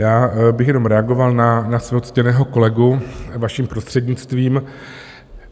Já bych jednom reagoval na svého ctěného kolegu vaším prostřednictvím.